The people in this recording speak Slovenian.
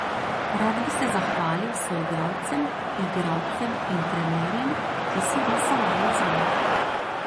Rad bi se zahvalil soigralcem, igralcem in trenerjem, ki so glasovali zame.